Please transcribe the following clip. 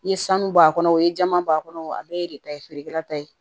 N ye sanu bɔ a kɔnɔ o ye jaman b'a kɔnɔ a bɛɛ ye de ta ye feerekɛla ta ye